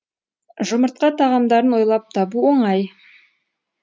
жұмыртқа тағамдарын ойлап табу оңай